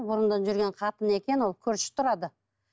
бұрыннан жүрген қатыны екен ол көрші тұрады